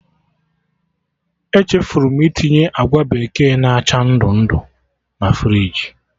Echefuru m itinye agwa bekee na acha ndụ ndụ na friji